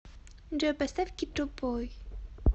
джой поставь китобой